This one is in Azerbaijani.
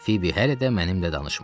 Fibi hələ də mənimlə danışmırdı.